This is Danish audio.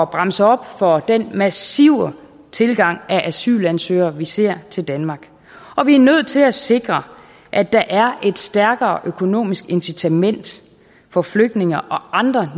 bremse op for den massive tilgang af asylansøgere vi ser til danmark og vi nødt til at sikre at der er et stærkere økonomisk incitament for flygtninge og andre